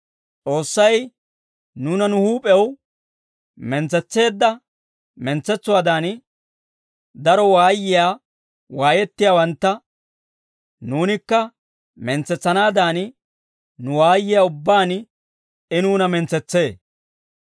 S'oossay nuuna nu huup'ew mentsetseedda mentsetsuwaadan, daro waayiyaa waayettiyaawantta nuunikka mentsetsanaadan, nu waayiyaa ubbaan I nuuna mentsetsee.